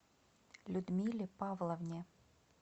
людмиле павловне